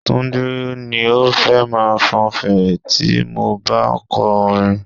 Túndé ni ó fẹ́ máa fọn fèrè tí mo bá ń kọ orin.